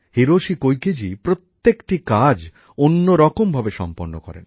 Hiroshi কোইকেজি প্রত্যেকটা কাজ অন্যরকম ভাবে সম্পন্ন করেন